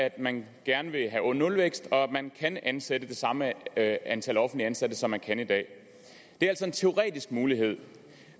at man gerne vil have nulvækst og at man kan ansætte det samme antal offentligt ansatte som man kan i dag det er altså en teoretisk mulighed